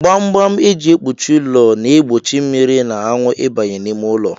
Gbamgbam e ji kpuchie ụlọ na-egbochi mmiri na anwụ ịbanye n'ime ụlọ